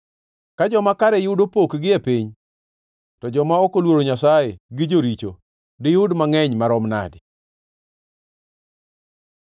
Ka joma kare yudo pokgi e piny, to joma ok oluoro Nyasaye gi joricho diyud mangʼeny maromo nadi!